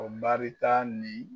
O baari ta ni